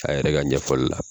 A yɛrɛ ka ɲɛfɔli la